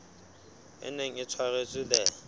e neng e tshwaretswe the